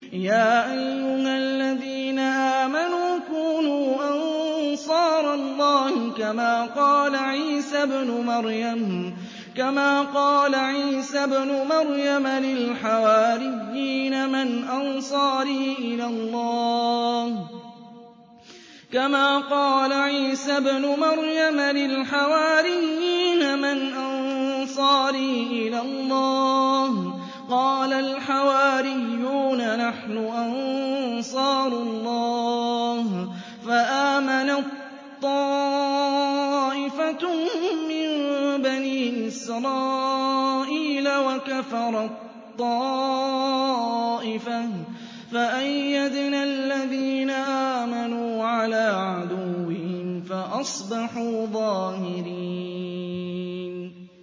يَا أَيُّهَا الَّذِينَ آمَنُوا كُونُوا أَنصَارَ اللَّهِ كَمَا قَالَ عِيسَى ابْنُ مَرْيَمَ لِلْحَوَارِيِّينَ مَنْ أَنصَارِي إِلَى اللَّهِ ۖ قَالَ الْحَوَارِيُّونَ نَحْنُ أَنصَارُ اللَّهِ ۖ فَآمَنَت طَّائِفَةٌ مِّن بَنِي إِسْرَائِيلَ وَكَفَرَت طَّائِفَةٌ ۖ فَأَيَّدْنَا الَّذِينَ آمَنُوا عَلَىٰ عَدُوِّهِمْ فَأَصْبَحُوا ظَاهِرِينَ